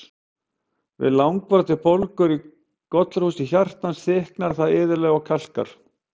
Við langvarandi bólgur í gollurhúsi hjartans, þykknar það iðulega og kalkar.